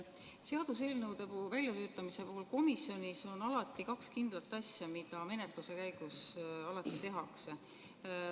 Seaduseelnõude väljalülitamise puhul on komisjonis alati kaks kindlat asja, mida menetluse käigus tehakse.